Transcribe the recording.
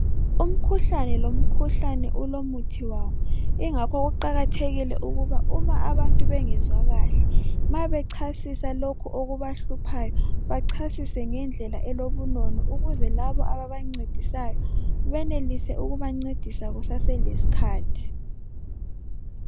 Umkhuhlane lomkhuhlane ulomuthi wawo ingakho kuqakathekile ukuba uma abantu bengezwa kahle, ma bechasisa lokho okubahluphayo bachasise ngendlela elobunono ukuze labo ababancedisayo benelise ukubancedisa kusaselesikhathi.